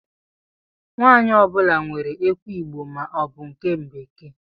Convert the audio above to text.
Nwanyi ọ bula nwèrè ekwụ igbo ma ọ bu nke bekee.